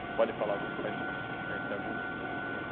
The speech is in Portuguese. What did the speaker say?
Você pode falar alguma para para gente conhecer algumas também, assim?